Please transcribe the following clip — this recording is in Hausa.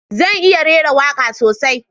Zan iya rera waka sosai